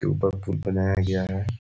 पुल बनाया गया है।